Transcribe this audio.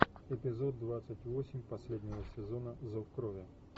эпизод двадцать восемь последнего сезона зов крови